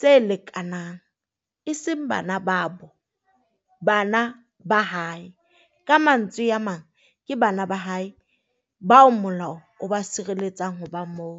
tse lekanang, e seng bana ba bo bana ba hae. Ka mantswe a mang, ke bana ba hae bao molao o ba sireletsang ho ba moo.